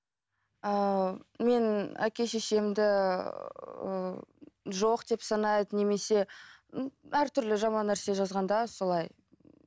ыыы мен әке шешемді ііі жоқ деп санайды немесе әртүрлі жаман нәрсе жазғанда солай